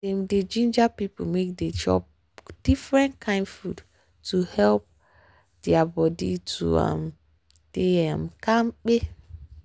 dem dey ginger people make dem dey chop different kind food to help their body to um dey um kampe.